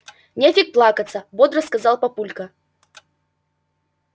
нефиг плакаться бодро сказал папулька